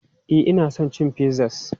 E, ina son cin pizzas.